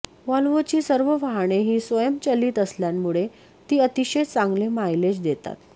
व्हॉल्वोची सर्व वाहने ही स्वयंचलित असल्यामुळे ती अतिशय चांगले मायलेज देतात